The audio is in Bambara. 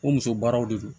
O muso baaraw de don